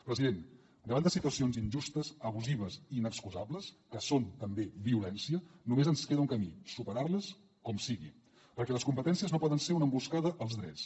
president davant de situacions injustes abusives i inexcusables que són també violència només ens queda un camí superar les com sigui perquè les competències no poden ser una emboscada als drets